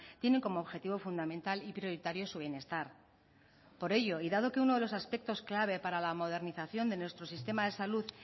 tienen como objetivo fundamental y prioritario su bienestar por ello y dado que uno de los aspectos clave para la modernización de nuestro sistema de salud